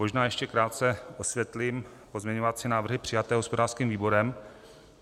Možná ještě krátce osvětlím pozměňovací návrhy přijaté hospodářským výborem.